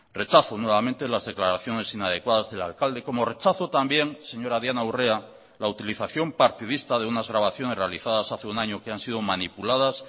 rechazo nuevamente las declaraciones inadecuadas del alcalde como rechazo también señora diana urrea la utilización partidista de unas grabaciones realizadas hace un año que han sido manipuladas